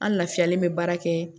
An lafiyalen bɛ baara kɛ